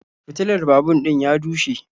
Fitilan babur din ya dushe